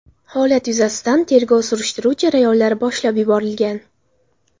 Holat yuzasidan tergov-surishtiruv jarayonlari boshlab yuborilgan.